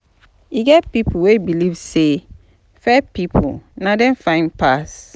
E get pipo wey believe say fair pipo na dem fine pass.